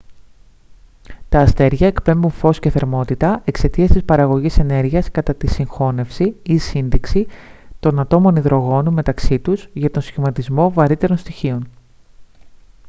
τα αστέρια εκπέμπουν φως και θερμότητα εξαιτίας της παραγωγής ενέργειας κατά τη συγχώνευση ή σύντηξη των ατόμων υδρογόνου μεταξύ τους για τον σχηματισμό βαρύτερων στοιχείων